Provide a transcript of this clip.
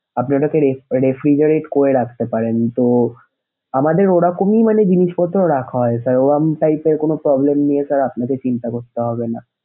আপনি ওটাকে ref~ refridgarate করে রাখতে পারেন তো আমাদের ওরকমই জিনিসপত্র রাখা হয় sir ওরকম type এর কোনো problem নিয়ে sir আপনাকে চিন্তা করতে হবেনা।